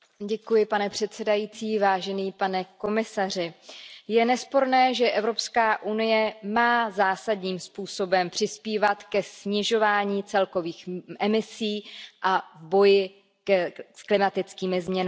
Pane předsedající, pane komisaři, je nesporné, že Evropská unie má zásadním způsobem přispívat ke snižování celkových emisí a k boji s klimatickými změnami.